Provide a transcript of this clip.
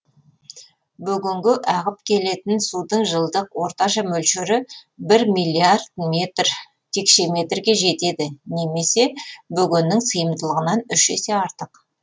бөгенге ағып келетін судың жылдық орташа мөлшері бір миллиард метр текше метрге жетеді немесе бөгеннің сыйымдылығынан үш есе артық